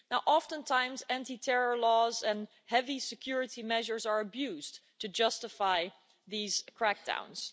Oftentimes, anti terror laws and heavy security measures are abused to justify these crackdowns.